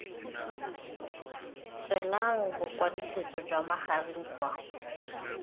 tswelang bokwadisetso jwa magareng kwa